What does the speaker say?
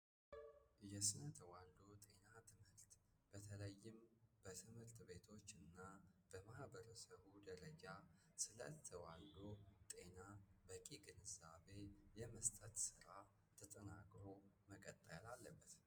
የስነ ተዋዶ ጤና ትምህልት በተለይም በትምህልት ቤቶች እና በማህበር ሰሁ ደረጃ ስለት ዋዶ ጤና በቂ ግንዛቤ የመስጠት ሥራ ተጠናግሮ መቀጠያል አለበት።